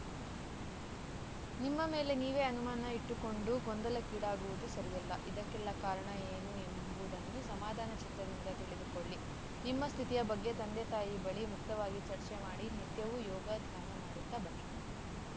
ನಿಮ್ಮ ಮೇಲೆ ನೀವೇ ಅನುಮಾನ ಇಟ್ಟುಕೊಂಡು ಗೊಂದಲಕ್ಕೀಡಾಗುವುದು ಸರಿಯಲ್ಲ ಇದಕ್ಕೆಲ್ಲಾ ಕಾರಣ ಏನು ಎಂಬುದನ್ನು ಸಮಾಧಾನ ಚಿತ್ತದಿಂದ ತಿಳಿದುಕೊಳ್ಳಿ ನಿಮ್ಮ ಸ್ಥಿತಿಯ ಬಗ್ಗೆ ತಂದೆತಾಯಿ ಬಳಿ ಮುಕ್ತವಾಗಿ ಚರ್ಚೆ ಮಾಡಿ ನಿತ್ಯವೂ ಯೋಗ ಧ್ಯಾನ ಮಾಡುತ್ತಾ ಬನ್ನಿ